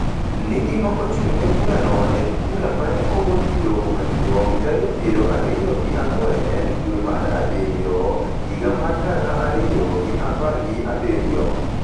ni gima ochung’ne burano en bura ma ne ogol gi Doho Maduong’ tarik piero ariyo gi ang'wen dwe mar Abiriyo higa mar gana ariyo gi apar gi abiriyo,